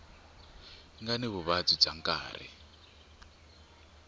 nga ni vuvabyi bya nkarhi